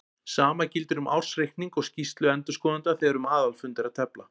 Sama gildir um ársreikning og skýrslu endurskoðenda þegar um aðalfund er að tefla.